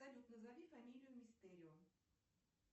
салют назови фамилию мистерио